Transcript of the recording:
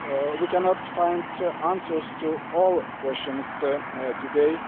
We cannot find answers to all the questions today.